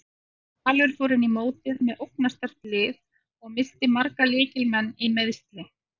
Valur fór inn í mótið með ógnarsterkt lið og missti marga lykil leikmenn í meiðsli.